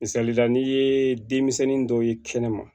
Misalila n'i ye denmisɛnnin dɔw ye kɛnɛma